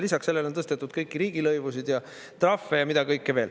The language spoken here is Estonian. Lisaks sellele on tõstetud kõiki riigilõivusid ja trahve ja mida kõike veel.